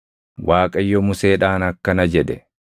Waaqayyo Museedhaan akkana jedhe;